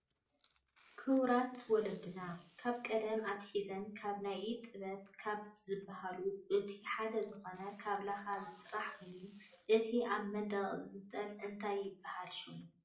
ክቡራት ወለድታትና ካብ ቀደም ኣትሒዘን ካብ ናይ ኢድ ጥበብ ካብ ዝብሃሉ እቱይ ሓደ ዝኮነ ካብ ላካ ዝስራሕ ኮይኒ። እቲይ ኣብ መንደቅ ዝተጠንጠለ እንታይ ይብሃል ሽሙ?